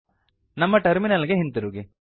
ನಮ್ಮ ಟರ್ಮಿನಲ್ ಗೆ ಹಿಂತಿರುಗಿ